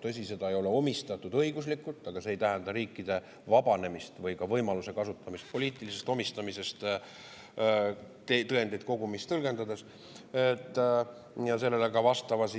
Tõsi, seda ei ole õiguslikult omistatud, aga see ei tähenda riikide vabanemist poliitilisest omistamisest, või ka seda, et sellist võimalust ei kasutataks, tõendeid kogumis tõlgendades, ja see ei tähenda, et me ei kohalda sellele vastavat,